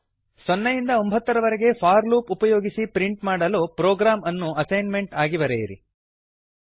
ಸೊನ್ನೆಯಿಂದ ಒಂಭತ್ತರವರೆಗೆ for loop ಉಪಯೋಗಿಸಿ ಪ್ರಿಂಟ್ ಮಾಡಲು ಪ್ರೊಗ್ರಾಮ್ ಅನ್ನು ಅಸೈನ್ಮೆಂಟ್ ಆಗಿ ಬರೆಯಿರಿ